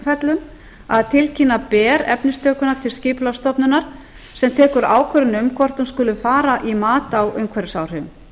tilfellum að tilkynna ber efnistökuna til skipulagsstofnunar sem tekur ákvörðun um hvort hún skuli fara í mat á umhverfisáhrifum